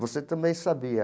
Você também sabia?